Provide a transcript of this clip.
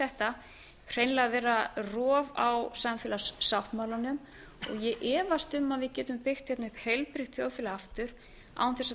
þetta hreinlega vera rof á samfélagssáttmálanum og ég efast um að við getum byggt hérna upp heilbrigt þjóðfélag aftur án þess að